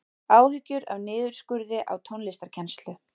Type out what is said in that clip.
Áhyggjur af niðurskurði á tónlistarkennslu